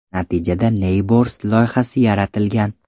Natijada Neighbors loyihasi yaratilgan.